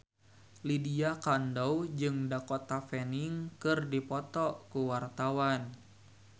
Lydia Kandou jeung Dakota Fanning keur dipoto ku wartawan